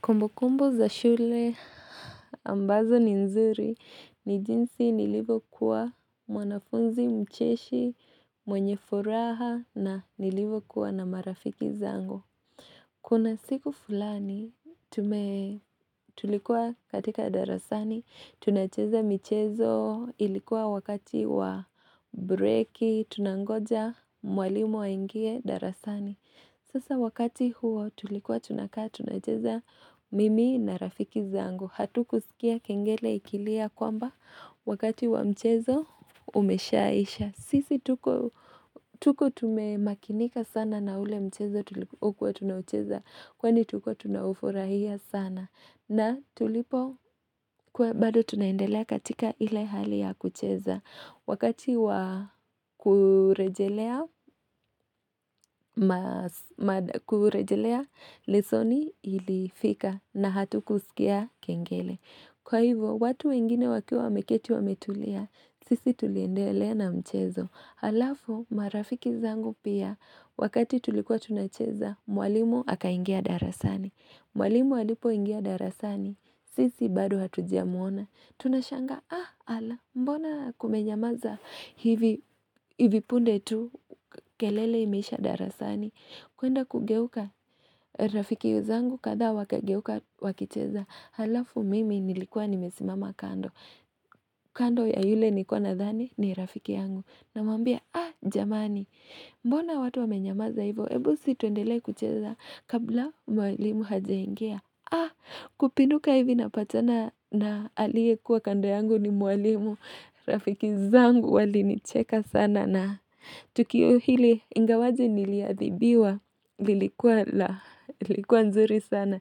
Kumbukumbu za shule ambazo ni nzuri ni jinsi nilivyokuwa mwanafunzi mcheshi, mwenye furaha na nilivyokuwa na marafiki zangu. Kuna siku fulani tulikuwa katika darasani, tunacheza michezo ilikuwa wakati wa breaki, tunangoja mwalimu aingie darasani. Sasa wakati huo tulikuwa tunakaa tunacheza mimi na rafiki zangu. Hatu kusikia kengele ikilia kwamba wakati wa mchezo umeshaisha. Sisi tuko tume makinika sana na ule mchezo ukuwa tunacheza. Kwani tuko tunaufurahia sana. Na tulipo kuwa bado tunaendelea katika ile hali ya kucheza. Wakati wakurejelea, lesoni ilifika na hatu kusikia kengele. Kwa hivyo, watu wengine wakiwa wameketi wame tulia, sisi tuliendelea na mchezo. Halafu, marafiki zangu pia, wakati tulikuwa tunacheza, mwalimu aka ingia darasani. Mwalimu halipo ingia darasani, sisi bado hatujamuona. Tunashanga ah ala mbona kumenyamaza hivi punde tu kelele imeisha darasani kuenda kugeuka rafiki zangu kadhaa wakageuka wakicheza Halafu mimi nilikuwa nimesimama kando kando ya yule nikuwa nadhani ni rafiki yangu na mwambia ah jamani mbona watu wamenyamaza hivo Ebusi tuendelee kucheza kabla mwalimu hajaingia Kupinduka hivi napatana na aliye kuwa kando yangu ni mwalimu Rafiki zangu wali nicheka sana na Tukio hili ingawaje niliadhibiwa lilikuwa nzuri sana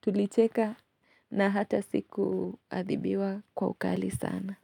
Tulicheka na hata siku adhibiwa kwa ukali sana.